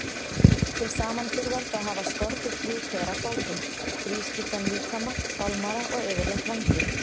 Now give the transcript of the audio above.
Til samanburðar þá hafa skordýr þrjú pör af fótum, þrískiptan líkama, fálmara og yfirleitt vængi.